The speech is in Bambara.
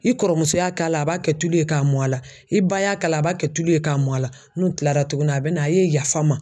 I kɔrɔmuso y'a k'a la a b'a kɛ tulu ye k'a mɔn a la i ba y'a k'a la a b'a kɛ tulu ye k'a mɔn a la n'u kilala tuguni a bɛ na a ye yafa n ma.